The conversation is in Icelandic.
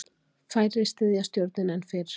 Færri styðja stjórnina en fyrr